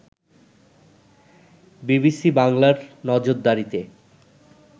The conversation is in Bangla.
বিবিসি বাংলার নজরদারিতে